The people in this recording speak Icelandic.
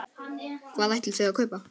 Hvað ætlið þið að kaupa?